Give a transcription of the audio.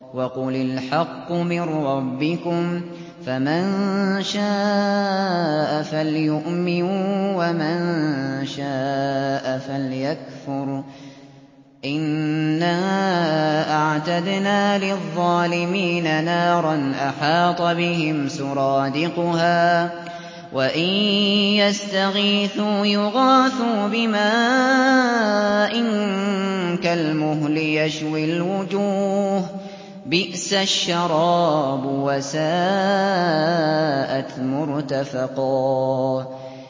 وَقُلِ الْحَقُّ مِن رَّبِّكُمْ ۖ فَمَن شَاءَ فَلْيُؤْمِن وَمَن شَاءَ فَلْيَكْفُرْ ۚ إِنَّا أَعْتَدْنَا لِلظَّالِمِينَ نَارًا أَحَاطَ بِهِمْ سُرَادِقُهَا ۚ وَإِن يَسْتَغِيثُوا يُغَاثُوا بِمَاءٍ كَالْمُهْلِ يَشْوِي الْوُجُوهَ ۚ بِئْسَ الشَّرَابُ وَسَاءَتْ مُرْتَفَقًا